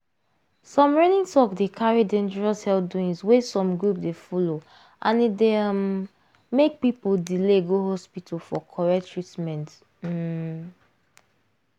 some reigning talk dey carry dangerous health doings wey some group dey follow and e dey um make people delay go hospital for correct treatment um